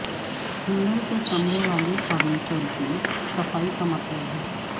handle سے چمڑے والے فرنیچر کی صفائی کا مطلب ہے